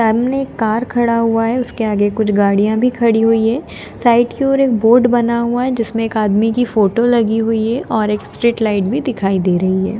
सामने एक कार खड़ा हुआ है उसके आगे कुछ गाड़ियां भी खड़ी हुई है साइड की ओर एक बोर्ड बना हुआ है जिसमें एक आदमी की फोटो लगी हुई है और एक स्ट्रीट लाइट भी दिखाई दे रही है।